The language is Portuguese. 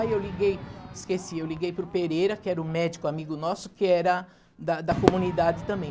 Aí eu liguei, esqueci, eu liguei para o Pereira, que era o médico amigo nosso, que era da da comunidade também.